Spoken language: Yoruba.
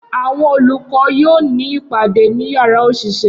Awọn olukọ yoo ni ipade ni yara oṣiṣẹ